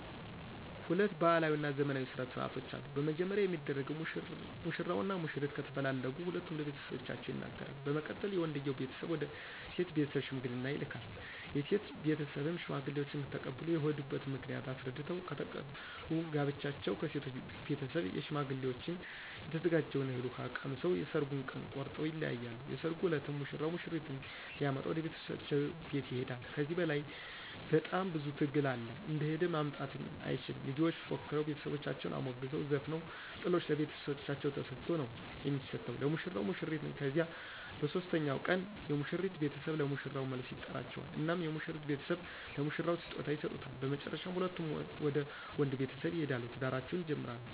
ሁለት ባህላዊ እና ዘመናዊ ስነ ስርዓቶች አሉ። በመጀመሪያ የሚደረገው ሙሽራው እና ሙሽሪት ከተፈላለጉ ሁለቱም ለቤተሰቦቻቸው ይነገራሉ በመቀጠል የወንድየው ቤተሰብ ወደ ሴቶ ቤተስብ ሽምግልና ይልካል የሴቶ ቤተሰብም ሽማግሌዎችን ተቀብሎ የሆዱበት ምክንያት አሰረድተው ከተቀበሉ ጋብቻውን ከሴቶ ቤተሰብ ሸማግሌዎችን የተዘጋጀውን እህል ውሃ ቀምሰው የሠራጉን ቀን ቆረጠው ይለያያሉ። የሰራጉ እለትም ሙሽራው ሙሽሪትን ሊመጣ ወደ ቤተሰቦቻ ቤት ይሆዳ ከዚህ ለይ በጣም ብዙ ትግል አለ እንደሆደ ማምጣትም አይችል ሚዜዎች ፎክረው ቤተሰቦቻን አሞግሰው ዘፍነው ጥሎሽ ለቤተሰቦቻ ተሰጦ ነው የሚሰጠው ለሙሽራው ሙሽሪትን ከዚያ በሦስተኛው ቀን የሙሽሪት ቤተሰብ ለሙሽራው መልስ ይጠራቸዋል እናም የሙሽሪት ቤተሰብ ለሙሽራው ስጦታ ይሰጡታ በመጨረሻ ሁለቱም ወደ ወንድ ቤተሰብ ይሆዳሉ ትዳራቸውን ይጀምራሉ።